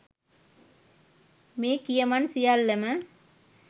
මේ කියමන් සියල්ලම